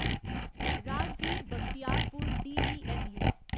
Rajgir Bakhtiyarpur DEMU